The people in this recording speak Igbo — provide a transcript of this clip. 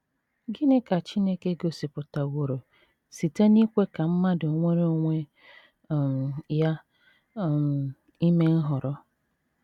Gịnị ka Chineke gosipụtaworo site n’ikwe ka mmadụ nwere onwe um ya um ime nhọrọ?